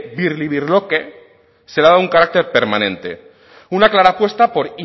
birlibirloque se le ha dado un carácter permanente una clara apuesta por